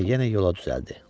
Sonra yenə yola düzəldi.